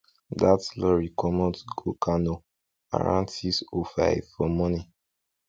that lorry comot go kano around six o five for morning